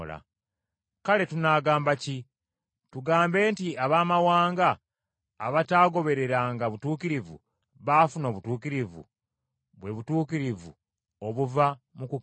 Kale tunaagamba ki? Tugambe nti Abaamawanga abataagobereranga butuukirivu, baafuna obutuukirivu, bwe butuukirivu obuva mu kukkiriza,